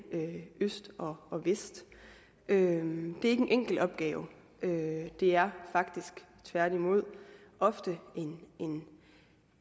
øst og vest det er ikke en enkel opgave det er faktisk tværtimod ofte en